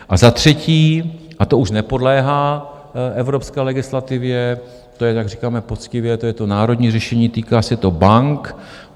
A za třetí, a to už nepodléhá evropské legislativě, to je, jak říkáme poctivě, to je to národní řešení, týká se to bank.